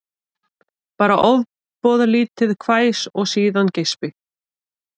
Bara ofboðlítið hvæs og síðan geispi